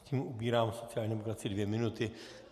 Tím ubírám sociální demokracii dvě minuty.